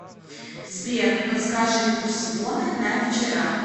сбер подскажи курс воны на вчера